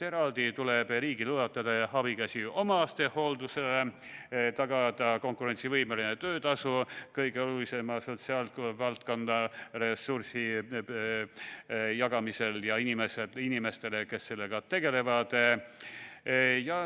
Eraldi tuleb riigil ulatada abikäsi omastehooldusele, tagada konkurentsivõimeline töötasu kõige olulisema sotsiaalvaldkonna ressursi jagamisel ja inimestele, kes sellega tegelevad.